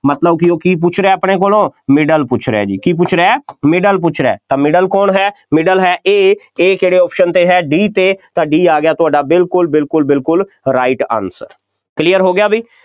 ਮਤਲਬ ਕਿ ਉਹ ਕੀ ਪੁੱਛ ਰਿਹਾ ਆਪਣੇ ਕੋਲੋਂ middle ਪੁੱਛ ਰਿਹਾ ਜੀ, ਕੀ ਪੁੱਛ ਰਿਹਾ middle ਪੁੱਛ ਰਿਹਾ, ਤਾਂ middle ਕੌਣ ਹੈ, middle ਹੈ A A ਕਿਹੜੇ option 'ਤੇ ਹੈ D 'ਤੇ ਤਾਂ D ਆ ਗਿਆ ਤੁਹਾਡਾ ਬਿਲਕੁੱਲ ਬਿਲਕੁੱਲ ਬਿਲਕੁੱਲ right answer clear ਹੋ ਗਿਆ ਬਈ,